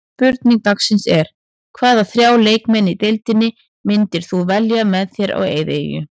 Spurning dagsins er: Hvaða þrjá leikmenn í deildinni myndir þú velja með þér á eyðieyju?